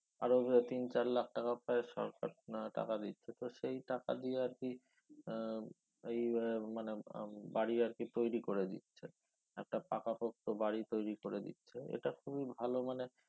আরো এ তিন চার লাখ টাকা প্রায় সরকার আহ টাকা দিচ্ছে তো সেই টাকা দিয়ে আরকি আহ এই আহ মানে উম বাড়ি আরকি তৈরি করে দিচ্ছে একটা পাকাপোক্ত বাড়ি তৈরি করে দিচ্ছে এটা খুবই ভালো ‍মানে